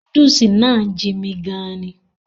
Núdúùsù náà jin'mi gan-an ni